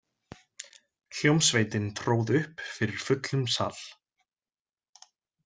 Hljómsveitin tróð upp fyrir fullum sal.